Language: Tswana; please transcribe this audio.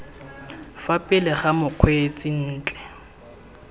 fa pele ga mokgweetsi ntle